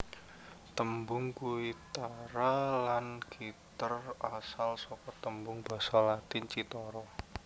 Tembung guitarra lan gitter asal saka tembung Basa Latin cithara